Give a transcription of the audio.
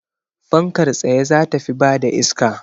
Fankar tsaye za ta fi bada iska